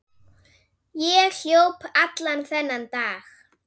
Ég hljóp allan þennan dag.